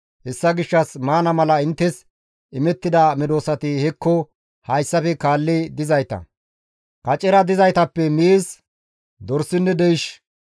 Hessa gishshas maana mala inttes imettida medosati hekko hayssafe kaalli dizayta; kacera dizaytappe miiz, dorsinne deysh,